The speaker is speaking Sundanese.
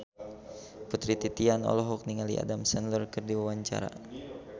Putri Titian olohok ningali Adam Sandler keur diwawancara